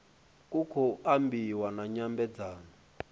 ku khou ambiwa na nyambedzano